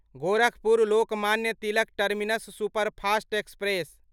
Gorakhpur Lokmanya Tilak terminus superfast express